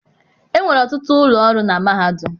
Enwere ọtụtụ ụlọ ọrụ na mahadum.